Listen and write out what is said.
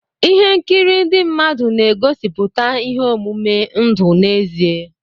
Ihe nkiri ndị mmadụ na-egosiputa ihe omume ndụ n'ezie.